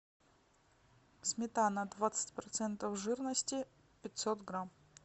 сметана двадцать процентов жирности пятьсот грамм